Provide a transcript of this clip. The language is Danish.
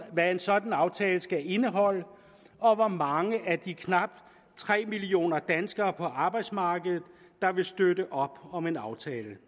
hvad en sådan aftale skal indeholde og hvor mange af de knap tre millioner danskere på arbejdsmarkedet der vil støtte op om en aftale